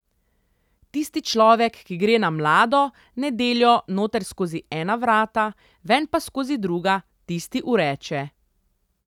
Tisti človek, ki gre na mlado nedeljo noter skozi ena vrata, ven pa skozi druga, tisti ureče.